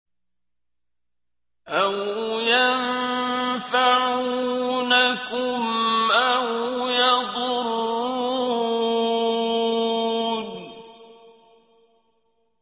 أَوْ يَنفَعُونَكُمْ أَوْ يَضُرُّونَ